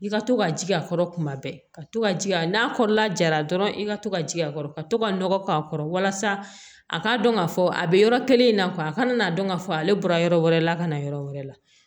I ka to ka jigin a kɔrɔ kuma bɛɛ ka to ka ji a n'a kɔrɔla jara dɔrɔn i ka to ka jigin a kɔrɔ ka to ka nɔgɔ k'a kɔrɔ walasa a ka dɔn k'a fɔ a bɛ yɔrɔ kelen in na a kana n'a dɔn k'a fɔ ale bɔra yɔrɔ wɛrɛ la ka na yɔrɔ wɛrɛ la